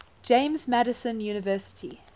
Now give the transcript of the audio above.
james madison university